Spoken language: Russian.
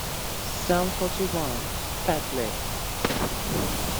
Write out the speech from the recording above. сам фоти ван фэт лип